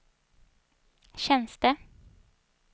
tjänster